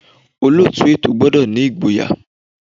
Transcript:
Olóòtú ètò gbọ́dọ̀ ní ìgboyà.